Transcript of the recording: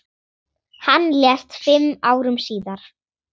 Hann lést fimm árum síðar.